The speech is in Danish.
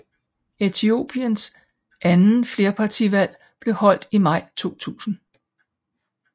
Etiopiens anden flerpartivalg blev holdt i maj 2000